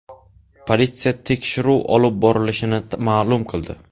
Politsiya tekshiruv olib borilishini ma’lum qildi.